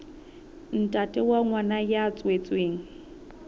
ntate wa ngwana ya tswetsweng